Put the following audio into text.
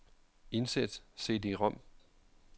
Indsæt cd-rom.